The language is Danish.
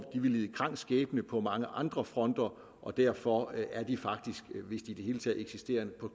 vil lide en krank skæbne på mange andre fronter og derfor er de faktisk hvis de i det hele taget eksisterer